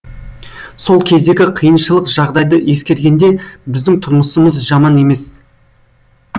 сол кездегі қиыншылық жағдайды ескергенде біздің тұрмысымыз жаман емес